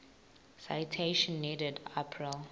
citation needed april